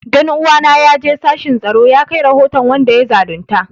Dan uwana ya je sashin tsaro ya kai rahoton wanda ya zalunta